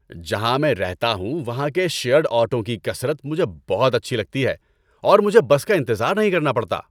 جہاں میں رہتا ہوں وہاں کے شیرڈ آٹوؤں کی کثرت مجھے بہت اچھی لگتی ہے اور مجھے بس کا انتظار نہیں کرنا پڑتا۔